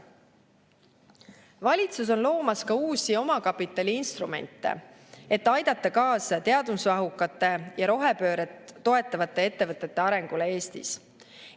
Valitsus on loomas ka uusi omakapitaliinstrumente, et aidata kaasa teadusmahukate ja rohepööret toetavate ettevõtete arengule Eestis.